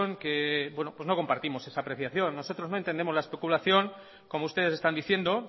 que no compartimos esa apreciación nosotros no entendemos la especulación como ustedes están diciendo